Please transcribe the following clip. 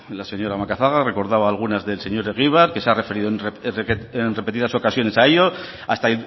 la señora macazaga recordaba algunas del señor egibar que se ha referido en repetidas ocasiones a ello hasta